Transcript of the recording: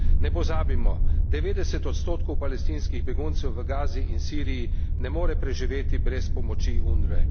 Ne pozabimo 90 odstotkov palestinskih beguncev v Gazi in v Siriji ne more preživeti brez pomoči UNWRE.